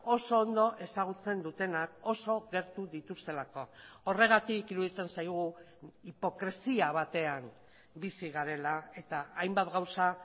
oso ondo ezagutzen dutenak oso gertu dituztelako horregatik iruditzen zaigu hipokresia batean bizi garela eta hainbat gauza